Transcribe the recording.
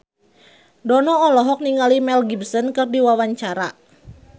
Dono olohok ningali Mel Gibson keur diwawancara